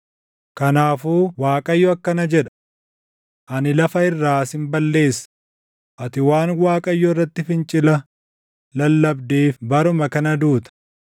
Kanaafuu Waaqayyo akkana jedha: ‘Ani lafa irraa sin balleessa; ati waan Waaqayyo irratti fincila lallabdeef baruma kana duuta.’ ”